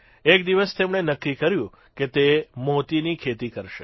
એક દિવસ તેમણે નક્કી કર્યું કે તે મોતીની ખેતી કરશે